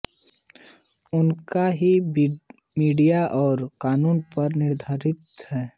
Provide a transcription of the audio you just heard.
उनका ही मीडिया और कानून पर नियंत्रण है